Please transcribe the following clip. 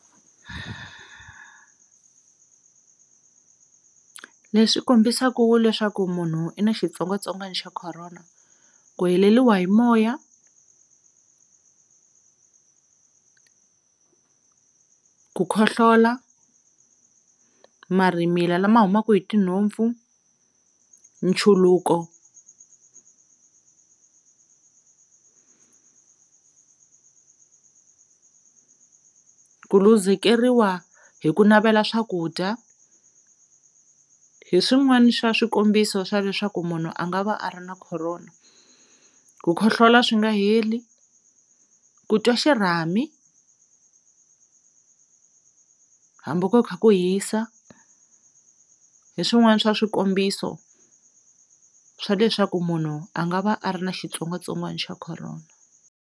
Leswi kombisaka leswaku munhu i na xitsongwatsongwana xa corona ku heleliwa hi moya, ku khohlola, marhimila lama humaka hi tinhompfu, nchuluko, ku luzekeriwa hi ku navela swakudya, hi swin'wana swa swikombiso swa leswaku munhu a nga va a ri na corona, ku khohlola swi nga heli, ku twa xirhami hambi ku kha ku hisa hi swin'wana swa swikombiso swa leswaku munhu a nga va a ri na xitsongwatsongwana xa corona.